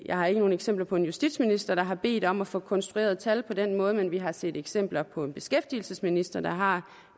jeg har ikke nogen eksempler på en justitsminister der har bedt om at få konstrueret tal på den måde men vi har set eksempler på en beskæftigelsesminister der har